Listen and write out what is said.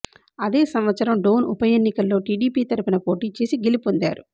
అదే సంవత్సరం డోన్ ఉపఎన్నికల్లో టీడీపీ తరపున పోటీ చేసి గెలుపొందారు